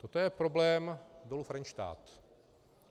Toto je problém Dolu Frenštát.